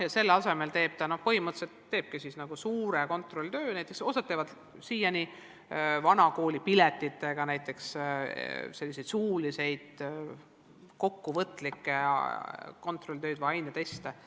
Ja siis õpetaja teebki selle asemel põhimõtteliselt suure kontrolltöö, näiteks osa korraldab siiani selliseid vana kooli tüüpi piletitega suulisi kokkuvõtlikke kontrolltöid või aineteste.